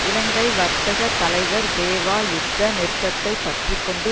இலங்கை வர்த்தக தலைவர் தேவா யுத்த நிறுத்தத்தை பற்றி கொண்டு